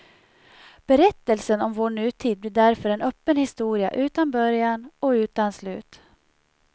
Berättelsen om vår nutid blir därför en öppen historia utan början och utan slut.